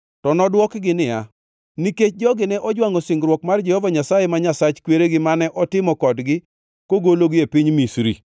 To nodwokgi niya, “Nikech jogi ne ojwangʼo singruok mar Jehova Nyasaye, ma Nyasach kweregi mane otimo kodgi kogologi e piny Misri.